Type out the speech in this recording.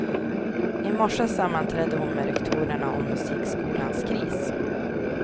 I morse sammanträdde hon med rektorerna om musikskolans kris.